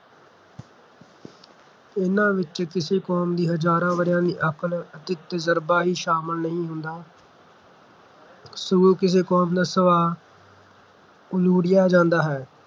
ਇਨ੍ਹਾਂ ਵਿੱਚ ਕਿਸੇ ਕੌਮ ਦੀ ਹਜ਼ਾਰਾਂ ਵਰ੍ਹਿਆਂ ਦੀ ਅਕਲ ਅਤੇ ਤਜ਼ਰਬਾ ਹੀ ਸ਼ਾਮਲ ਨਹੀਂ ਹੁੰਦਾ ਸਗੋਂ ਕਿਸੇ ਕੌਮ ਦਾ ਸੁਭਾਅ ਜਾਂਦਾ ਹੈ